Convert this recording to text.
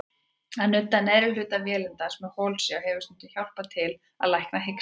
Að nudda neðri hluta vélindans með holsjá hefur stundum hjálpað til að lækna hiksta.